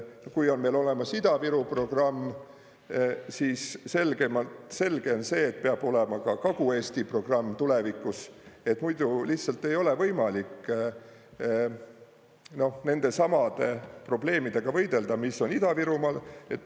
Kui on meil olemas Ida-Viru programm, siis selge on see, et peab olema ka Kagu-Eesti programm tulevikus, muidu lihtsalt ei ole võimalik nendesamade probleemidega võidelda, mis on Ida-Virumaal.